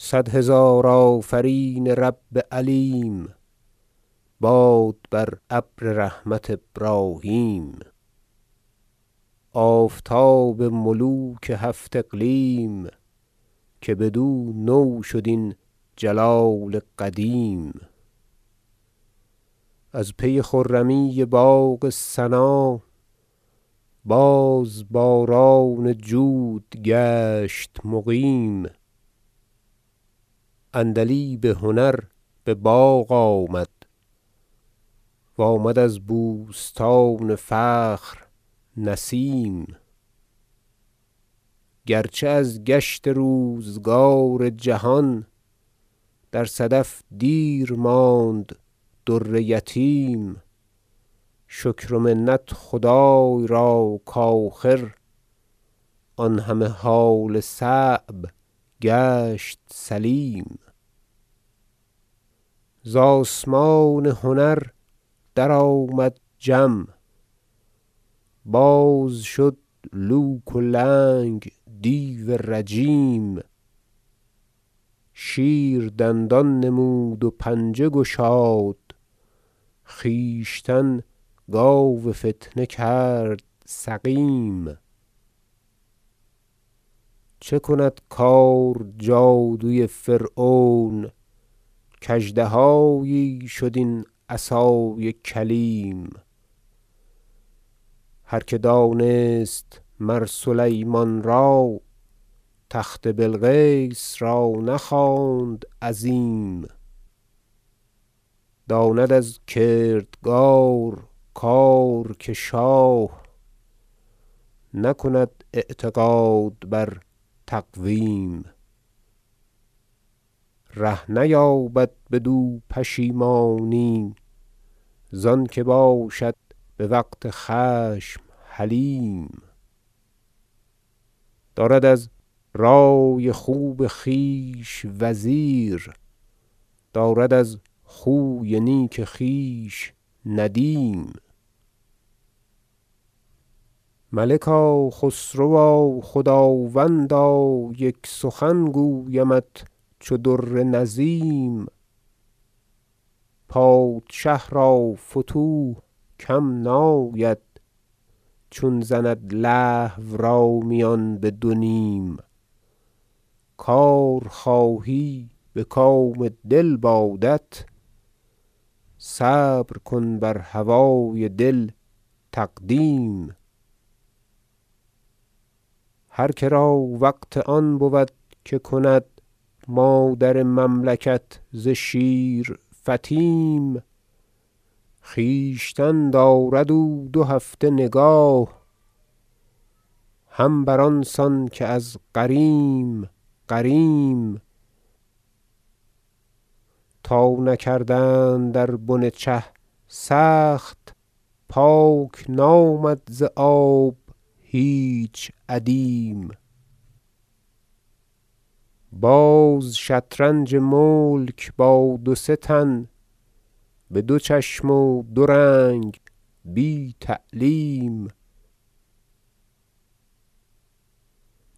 صد هزار آفرین رب علیم باد برابر رحمت ابراهیم آفتاب ملوک هفت اقلیم که بدو نوشد این جلال قدیم از پی خرمی باغ ثنا باز باران جود گشت مقیم عندلیب هنر بباغ آمد و آمد از بوستان فخر نسیم گرچه از گشت روزگار جهان در صدف دیر ماند در یتیم شکر و منت خدای را کاخر آن همه حال صعب گشت سلیم ز آسمان هنر درآمد جم باز شد لوک و لنگ دیو رجیم شیر دندان نمود و پنجه گشاد خویشتن گاو فتنه کرد سقیم چه کند کار جادوی فرعون کاژدهایی شد این عصای کلیم هر که دانست مر سلیمان را تخت بلقیس را نخواند عظیم داند از کردگار کار که شاه نکند اعتقاد بر تقویم ره نیابد بدو پشیمانی زانکه باشد بوقت خشم حلیم دارد از رأی خوب خویش وزیر دارد از خوی نیک خویش ندیم ملکا خسروا خداوندا یک سخن گویمت چو در نظیم پادشه را فتوح کم ناید چون زند لهو را میان بدونیم کار خواهی بکام دل بادت صبر کن بر هوای دل تقدیم هر کرا وقت آن بود که کند مادر مملکت ز شیر فطیم خویشتن دارد او دو هفته نگاه هم بر آنسان که از غریم غریم تا نکردند در بن چه سخت پاک نامد ز آب هیچ ادیم باز شطرنج ملک با دو سه تن بدو چشم و دو رنگ بی تعلیم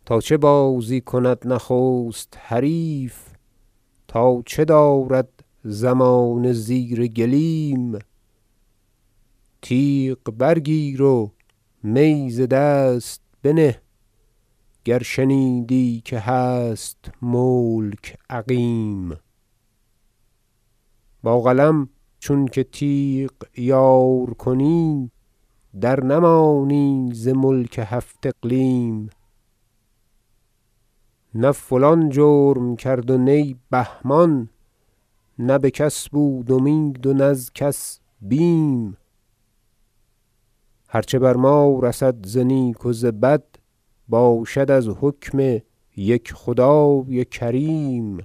تا چه بازی کند نخست حریف تا چه دارد زمانه زیر گلیم تیغ برگیر و می ز دست بنه گر شنیدی که هست ملک عقیم با قلم چونکه تیغ یار کنی در نمانی ز ملک هفت اقلیم نه فلان جرم کرد و نی بهمان نه بکس بود امید و نز کس بیم هر چه بر ما رسد ز نیک و ز بد باشد از حکم یک خدای کریم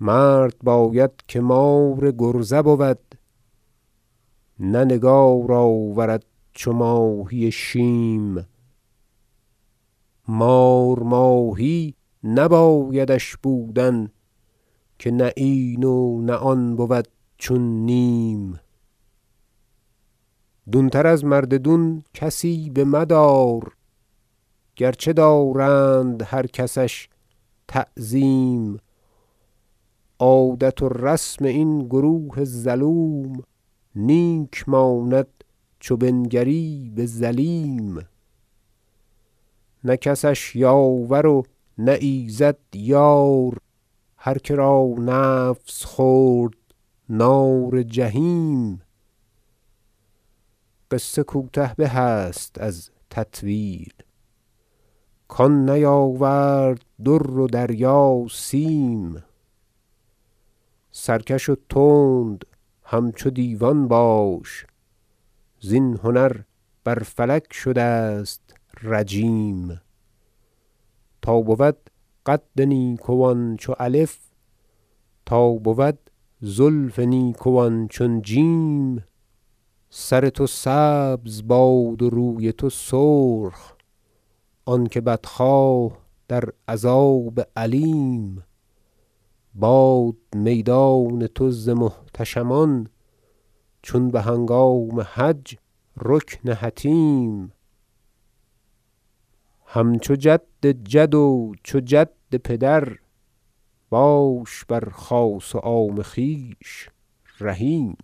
مرد باید که مار کرزه بود نه نگار آورد چو ماهی شیم مار ماهی نبایدش بودن که نه این و نه آن بود چون نیم دون تر از مرد دون کسی بمدار گرچه دارند هر کسش تعظیم عادت و رسم این گروه ظلوم نیک ماند چو بنگری بظلیم نه کسش یاور و نه ایزد یار هر کرا نفس خورد نار جحیم قصه کوته به است از تطویل کان نیاورد در و دریا سیم سرکش و تند همچو دیوان باش زین هنر بر فلک شده است رجیم تا بود قد نیکوان چو الف تا بود زلف نیکوان چون جیم سر تو سبز باد و روی تو سرخ آنکه بدخواه در عذاب الیم باد میدان تو ز محتشمان چون بهنگام حج رکن حطیم همچو جد جد و چو جد پدر باش بر خاص و عام خویش رحیم